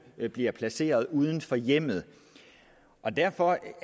bliver placeret uden for hjemmet derfor